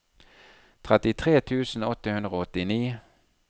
trettitre tusen åtte hundre og åttini